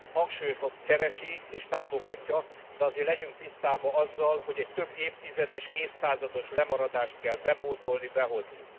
Hangsúlyozom keresi és támogatja, de azért legyünk tisztában azzal, hogy egy több évtizedes, évszázados lemaradást kell bepótolni, behozni.